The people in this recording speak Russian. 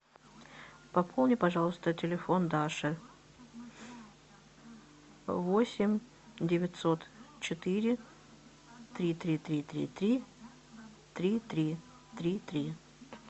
пополни пожалуйста телефон даши восемь девятьсот четыре три три три три три три три три